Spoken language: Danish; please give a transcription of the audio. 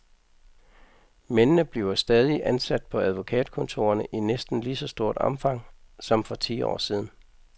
Mændene bliver stadig ansat på advokatkontorerne i næsten lige så stort omfang som for ti år siden .